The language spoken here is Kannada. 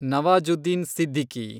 ನವಾಜುದ್ದೀನ್ ಸಿದ್ದಿಕಿ